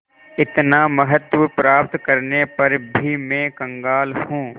इतना महत्व प्राप्त करने पर भी मैं कंगाल हूँ